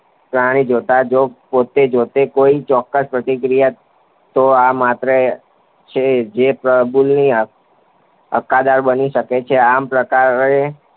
પ્રાણી જો પોતે જાતે કોઈ ચોક્કસ પ્રતિક્રિયા કરે તો અને માત્ર તો જ તે પ્રબલનનું હક્કદાર બની શકે છે. આમ, આ પ્રકારે